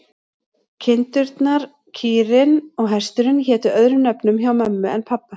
Kindurnar, kýrin og hesturinn hétu öðrum nöfnum hjá mömmu en pabba.